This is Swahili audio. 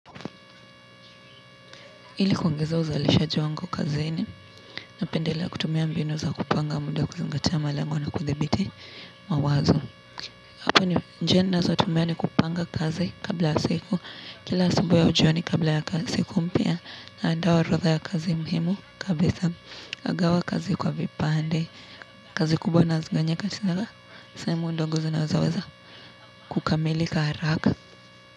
Ili kuongeza uzalishaji wangu kazini napendelea kutumia mbinu za kupanga muda kuzingatia malengo na kuthibiti mawazo. Kwa hayo, njia ninazotumia ni kupanga kazi kabla ya siku, kila asubuhi au jioni kabla ya siku mpya naandaa orodha ya kazi muhimu kabisa, nagawa kazi kwa vipande, kazi kubwa nazigawanya katika, sehemu ndogo zinazoweza kukamilika haraka.